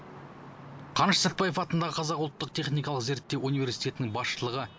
қаныш сәтбаев атындағы қазақ ұлттық техникалық зерттеу университетінің басшылығы